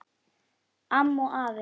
Amma og afi.